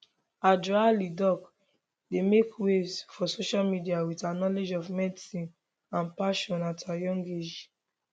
adjoa lildoc dey make waves for social media with her knowledge of medicine and passion at her young age